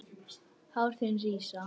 Hár þín rísa.